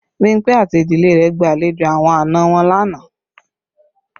Bimpe àti ìdílé rẹ gba àlejò àwọn àna wọn lánàá